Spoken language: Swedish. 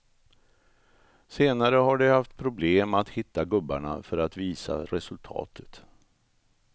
Senare har de haft problem att hitta gubbarna för att visa resultatet.